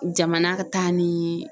Jamana ka taa niii